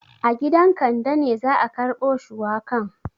A gidan Kande ne za a karbo shuwakan.